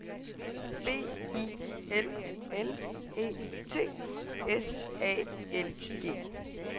B I L L E T S A L G